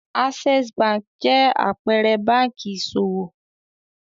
Access Bank jẹ́ àpẹẹrẹ báńkì ìṣòwò.